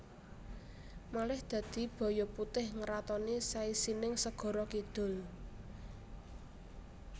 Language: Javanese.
Malih dadi baya putih ngratoni saisining segara kidul